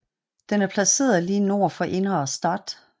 Den er placeret lige nord for Innere Stadt